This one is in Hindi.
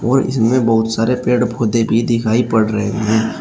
और इसमें बहुत सारे पेड़ पौधे भी दिखाई पड़ रहे हैं।